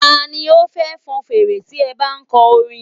Ta ni ó fẹ́ fọn fèrè tí ẹ bá ń kọ orin?